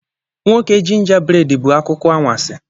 Nwoke gingabred bụ akụkọ anwansi.